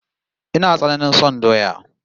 Ina tsananain son doya